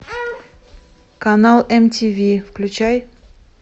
канал мтв включай